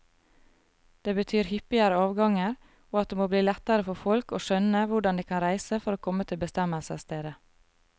Det betyr hyppigere avganger, og at det må bli lettere for folk å skjønne hvordan de kan reise for å komme til bestemmelsesstedet.